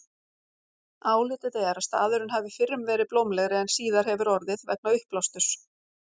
Álitið er að staðurinn hafi fyrrum verið blómlegri en síðar hefur orðið vegna uppblásturs.